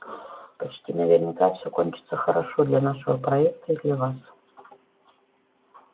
почти наверняка всё кончится хорошо для нашего проекта и для вас